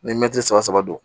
Ni mɛtiri saba saba don